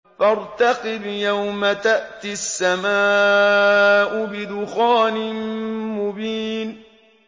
فَارْتَقِبْ يَوْمَ تَأْتِي السَّمَاءُ بِدُخَانٍ مُّبِينٍ